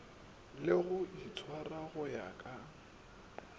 le go itshwara go ya